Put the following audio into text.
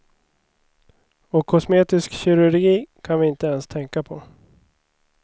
Och kosmetisk kirurgi kan vi inte ens tänka på.